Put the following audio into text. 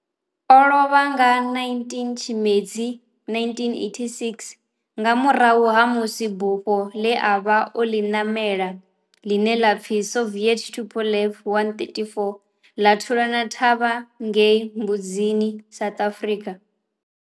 O lovha nga 19 Tshimedzi 1986 nga murahu ha musi bufho le a vha o li namela, line la pfi Soviet Tupolev 134 la thulana na thavha ngei Mbuzini, South Africa.